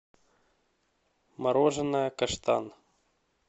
мороженое каштан